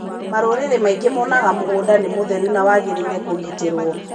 Marũrĩrĩ maingĩ monaga mũgũnda nĩ mũtheru na wangĩrĩire kũngĩtĩrwo.